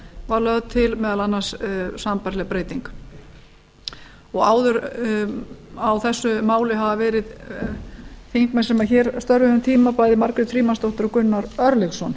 var lögð til meðal annars sambærileg breyting á þessu máli hafa áður verið þingmenn sem hér störfuðu um tíma bæði margrét frímannsdóttir og gunnar örlygsson